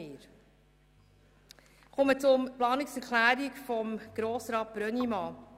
Ich komme zur Planungserklärung von Grossrat Brönnimann.